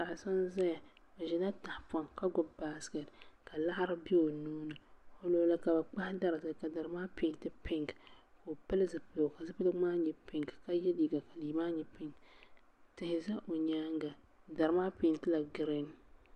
Paɣa so n ʒɛya o ʒila tahapoŋ ka gbubi baskɛt ka laɣari bɛ o nuuni o luɣuli ka bi kpahi dari zali ka dari maa peenti pink ka o pili zipiligu ka zipiligu maa nyɛ pink ka yɛ liiga ka liiga maa nyɛ pink tihi ʒɛ o nyaanga dari maa peentila giriin